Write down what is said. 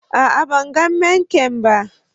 A'a, ban gan main kain ba.